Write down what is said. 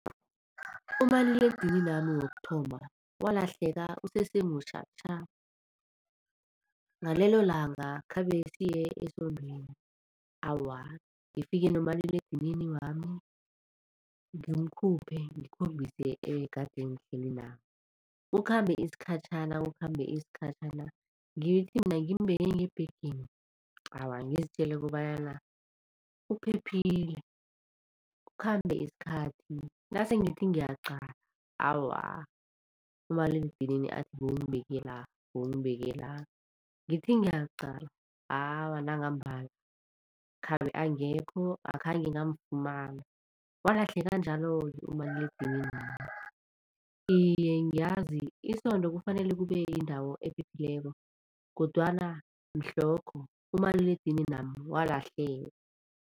Umaliledininami wokuthoma walahleka usesemutjha tjha. Ngalelo langa khabe siye esondweni, awa ngifike nomaliledinini wami ngimkhuphe ngikhombise egade ngihleli nabo. Kukhambe isikhatjhana, kukhambe isikhatjhana ngithi mina ngimbeke ngebhegeni, awa ngizitjele kobanyana uphephile. Kukhambe isikhathi nasengithi ngiyaqala awa, umaliledinini athi bewungibeke la, bewungibeke la ngithi ngiyaqala, awa nangambala khabe angekho akhange ngamfumana walahleka njalo-ke umaliledininami. Iye ngiyazi isondo kufanele kube yindawo ephephileko kodwana mhlokho umaliledininami walahleka.